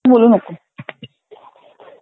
बोलू नको.